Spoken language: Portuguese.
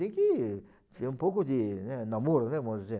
Tem que ter um pouco de, né, namoro, né, vamos dizer.